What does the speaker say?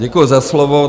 Děkuji za slovo.